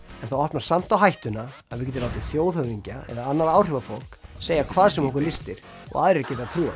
þú opnar samt á hættuna að við getum látið þjóðhöfðingja eða annað áhrifafólk segja hvað sem okkur lystir og aðrir geta trúað